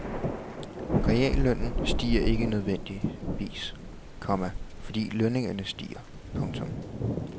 Reallønnen stiger ikke nødvendigvis, komma fordi lønningerne stiger. punktum